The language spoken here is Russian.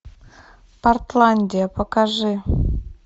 портландия покажи